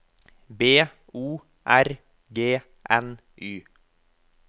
B O R G N Y